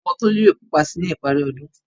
Àwọ̀ Tolú yóò pupa sí i ní ìparí ọdún.